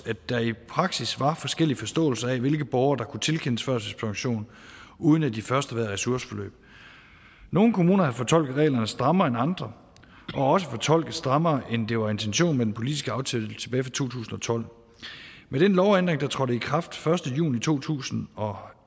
at der i praksis var forskellige forståelser af hvilke borgere der kunne tilkendes førtidspension uden at de først havde været i ressourceforløb nogle kommuner havde fortolket reglerne strammere end andre og også fortolket strammere end det var intentionen med den politiske aftale tilbage tusind og tolv med den lovændring der trådte i kraft den første juni to tusind og